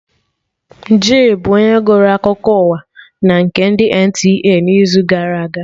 Jay bụ onye gụrụ akụkọ ụwa na nke ndị NTA n'izu gara aga